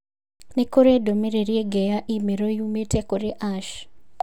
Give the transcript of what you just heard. Nĩ kũrĩ ndũmĩrĩri ĩngĩ ya i-mīrū yumĩte kũrĩ Ash?